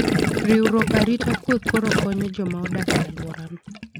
Riwruok arite kwue koro konyo joma odak e alworano.